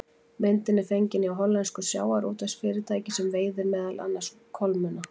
Myndin er fengin hjá hollensku sjávarútvegsfyrirtæki sem veiðir meðal annars kolmunna.